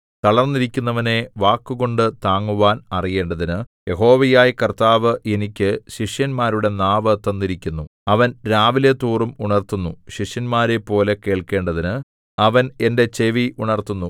തളർന്നിരിക്കുന്നവനെ വാക്കുകൊണ്ടു താങ്ങുവാൻ അറിയേണ്ടതിന് യഹോവയായ കർത്താവ് എനിക്ക് ശിഷ്യന്മാരുടെ നാവ് തന്നിരിക്കുന്നു അവൻ രാവിലെതോറും ഉണർത്തുന്നു ശിഷ്യന്മാരെപ്പോലെ കേൾക്കേണ്ടതിന് അവൻ എന്റെ ചെവി ഉണർത്തുന്നു